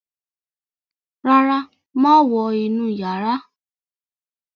ràrá máa wọ inú iyàrá.